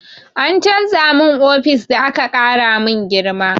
An canza min ofis da aka ƙara min girma.